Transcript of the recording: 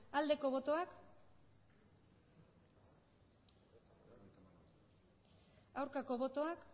aldeko botoak aurkako botoak